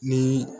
Ni